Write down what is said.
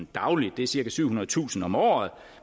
dagligt det er cirka syvhundredetusind om året